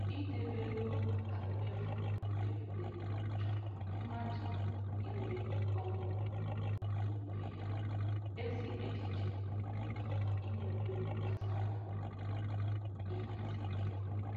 Idebe ego maka mmefu mberede chọrọ mmadụ inwe nkwanyeugwu n'onwe ya, ezi echiche nakwa inwe mkpebi gbasara ịhazi ego.